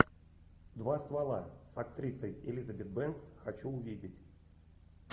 два ствола с актрисой элизабет бэнкс хочу увидеть